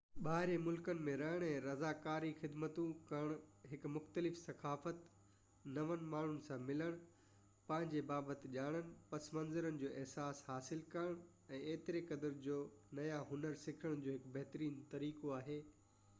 ٻاهرين ملڪن ۾ رهڻ ۽ رضاڪاري خدمتون ڪرڻ هڪ مختلف ثقافت نون ماڻهن سان ملڻ پنهنجي بابت ڄاڻڻ پس منظرن جو احساس حاصل ڪرڻ ۽ ايتري قدر جو نيا هنر سکڻ جو هڪ بهترين طريقو آهي